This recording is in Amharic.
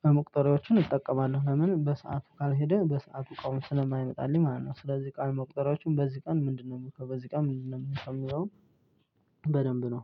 ቀን መቁጠሪያዎችን እጠቀማለሁ። ለምን በሰአቱ ካልሄደ በሰአቱ እቃውም ስለማይመጣልኝ ማለት ነው። ስለዚህ ቃል መቆጠሪያዎቹን በዚህ ቀን ምንድነው እምልከው በዚህ ቀን ምንድነው እምልከው እሚለውን? በደንብ ነው